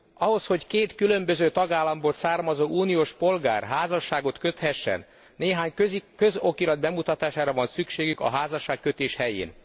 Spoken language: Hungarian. Ahhoz, hogy két különböző tagállamból származó uniós polgár házasságot köthessen, néhány közokirat bemutatására van szükségük a házasságkötés helyén.